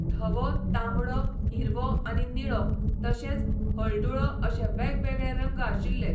धवो, तांबडो, हिरवो आनी निळो तशेंच हळडुळो अशें वेगवेगळे रंग आशिल्ले.